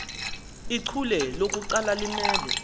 ichule lokuqala limele